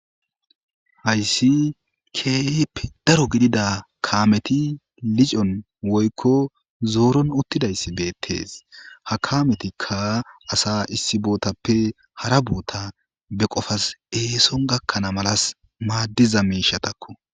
Hayssi keepe daro gidida kaameti licon woykko zooron uttidayssi beettees ha kametikka asa issi bootappe hara boota be qofas eeson gakkanaa malas maaddiza miishatakko.